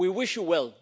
We wish you well.